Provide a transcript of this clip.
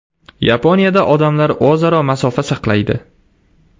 Yaponiyada odamlar o‘zaro masofa saqlaydi.